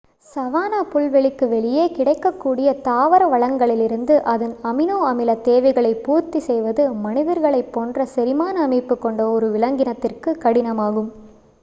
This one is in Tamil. சவன்னா புல்வெளிக்கு வெளியே கிடைக்கக்கூடிய தாவர வளங்களிலிருந்து அதன் அமினோ-அமில தேவைகளை பூர்த்தி செய்வது மனிதர்களைப் போன்ற செரிமான அமைப்பு கொண்ட ஒரு விலங்கினத்திற்கு கடினமாகும்